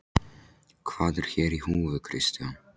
Hvað er hér í húfi Kristján?